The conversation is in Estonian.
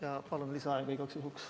Ja palun lisaaega igaks juhuks.